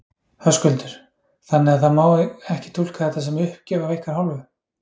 Höskuldur: Þannig það má ekki túlka þetta sem uppgjöf af ykkar hálfu?